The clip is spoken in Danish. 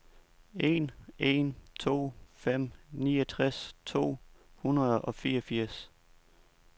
en en to fem niogtres to hundrede og fireogfirs